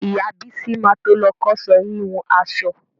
Ìyá Bísí ma to lọ kọ́ṣẹ́ híhun aṣọ.